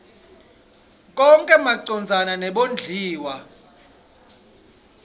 konkhe macondzana nebondliwa